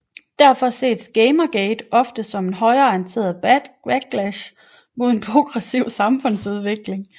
Derfor ses Gamergate ofte som højreorienteret backlash imod en progressiv samfundsudvikling